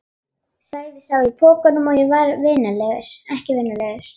sagði sá í pokanum og var ekki vinalegur.